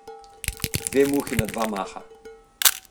Dve muhi na dva maha.